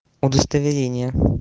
удостоверение